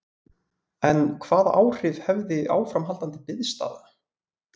En hvaða áhrif hefði áframhaldandi biðstaða?